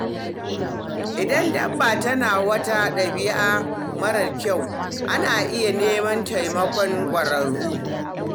Idan dabba tana wata dabi'a marar kyau, ana iya neman taimakon ƙwararru.